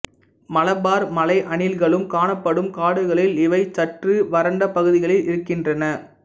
மலபார் மலை அணில்களும் காணப்படும் காடுகளில் இவை சற்று வறண்டபகுதிகளில் இருக்கின்றன